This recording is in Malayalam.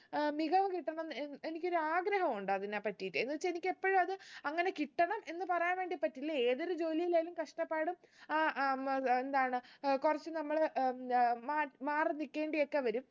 ഏർ മികവ് കിട്ടണം ഏർ എനിക്കൊരാഗ്രഹ ഉണ്ട് അതിനെ പറ്റിറ്റ് എന്ന് വെച്ച എനിക്ക് എപ്പോഴു അത് അങ്ങനെ കിട്ടണം എന്ന് പറയാൻ വേണ്ടി പറ്റില്ല ഏതൊരു ജോലിയിലായാലും കഷ്ടപ്പാടും ആഹ് അഹ് ഏർ എന്താണ് ഏർ കുറച്ച് നമ്മള് ഉം അഹ് മാ മാറി നിക്കേണ്ടി ഒക്കെ വരും